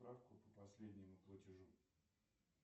справку по последнему платежу